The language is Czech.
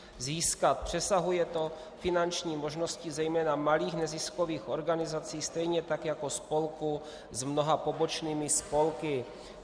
Přesahuje to finanční možnosti zejména malých neziskových organizací, stejně tak jako spolků s mnoha pobočnými spolky.